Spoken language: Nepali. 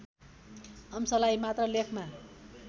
अंशलाई मात्र लेखमा